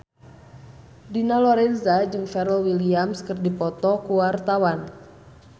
Dina Lorenza jeung Pharrell Williams keur dipoto ku wartawan